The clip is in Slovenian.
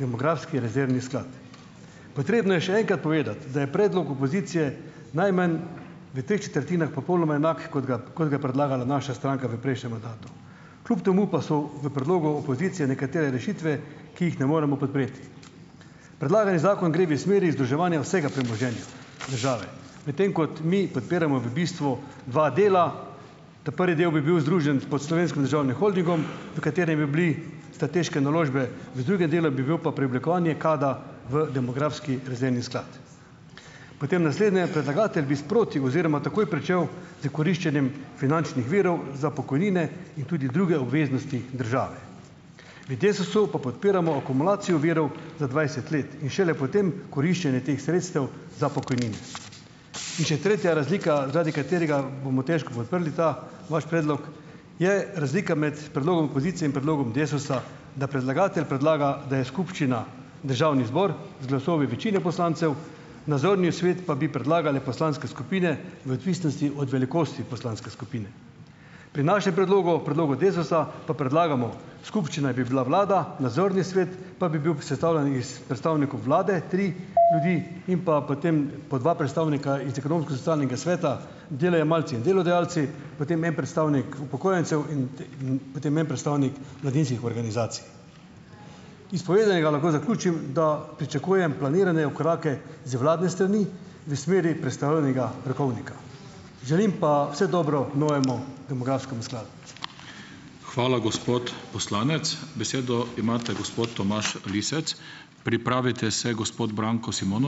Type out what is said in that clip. demografski rezervni sklad. Potrebno je še enkrat povedati, da je predlog opozicije najmanj v treh četrtinah popolnoma enak, kot ga kot ga je predlagala naša stranka v prejšnjem mandatu, kljub temu pa so v predlogu opozicije nekatere rešitve, ki jih ne moremo podpreti. Predlagani zakon gre v smeri združevanja vsega premoženja države, medtem ko mi podpiramo v bistvu dva dela, ta prvi del bi bil združen pod Slovenskim državnim holdingom, v katerem bi bile strateške naložbe, v drugem delu bi bil pa preoblikovanje KAD-a v demografski rezervni sklad. Potem naslednje. Predlagatelj bi sproti oziroma takoj pričel s koriščenjem finančnih virov za pokojnine in tudi druge obveznosti države. V Desusu pa podpiramo akumulacijo virov za dvajset let in šele potem koriščenje teh sredstev za pokojnine. In še tretja razlika, zaradi katere bomo težko podprli ta vaš predlog, je razlika med predlogom opozicije in predlogom Desusa, da predlagatelj predlaga, da je skupščina državni zbor z glasovi večine poslancev, nadzorni svet pa bi predlagale poslanske skupine v odvisnosti od velikosti poslanske skupine. Pri našem predlogu, predlogu Desusa, pa predlagamo skupščina bi bila vlada, nadzorni svet pa bi bil sestavljen iz predstavnikov vlade, tri ljudi, in pa potem po dva predstavnika iz ekonomsko-socialnega sveta, delojemalci in delodajalci, potem en predstavnik upokojencev in in potem en predstavnik mladinskih organizacij. Iz povedanega lahko zaključim, da pričakujem planirane korake z vladne strani v smeri prestavljenega rokovnika. Želim pa vse dobro novemu demografskemu skladu.